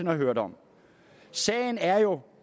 har hørt om sagen er jo